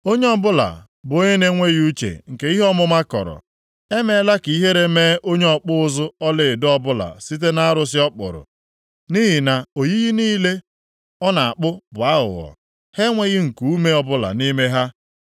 Onye ọbụla bụ onye na-enweghị uche nke ihe ọmụma kọrọ. Emeela ka ihere mee onye ọkpụ ụzụ ọlaedo ọbụla site nʼarụsị ọ kpụrụ. Nʼihi na oyiyi niile ọ na-akpụ bụ aghụghọ; ha enweghị nkuume ọbụla nʼime ha.